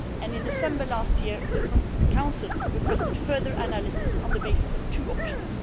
In December last year, the Council requested further analysis on the basis of two options.